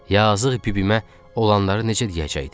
Yazıq bibimə olanları necə deyəcəydik?